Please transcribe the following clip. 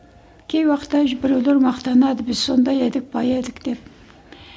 кей уақытта біреулер мақтанады біз сондай едік бай едік деп